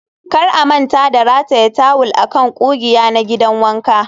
kar a manta da rataya tawul a kan ƙugiya na gidan wanka